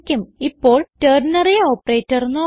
ഇപ്പോൾ ternary operator നോക്കാം